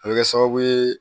A bɛ kɛ sababu ye